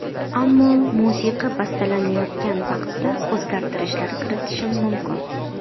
Ammo musiqa bastalanayotgan vaqtda o‘zgartirishlar kiritishim mumkin.